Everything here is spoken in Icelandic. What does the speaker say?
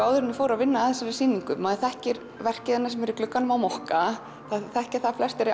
áður en ég fór að vinna þessa sýningu maður þekkir verkið sem er í glugganum á mokka það þekkja að flestir